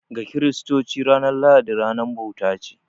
Ga Kiristoci, ranar lahadi ranar bauta ce.